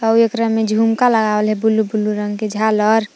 आव एकरा में झुमका लगावल हइ ब्लू ब्लू रंग के झालर--